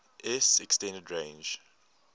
s extended range